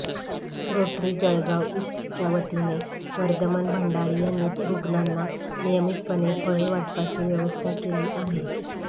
rotary Jalgaon ईस्टच्यावतीने वर्धमान भंडारी यांनी रुग्णांना नियमितपणे फळे वाटपाची व्यवस्था केली आहे